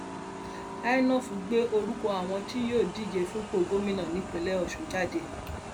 inov gbé orúkọ àwọn tí yóò díje fúnpọ gómìnà nípínlẹ ọsùn jáde